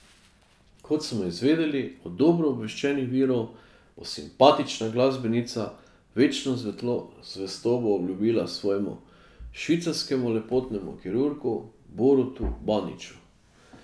Kot smo izvedeli od dobro obveščenih virov, bo simpatična glasbenica večno zvestobo obljubila svojemu švicarskemu lepotnemu kirurgu Borutu Baniču.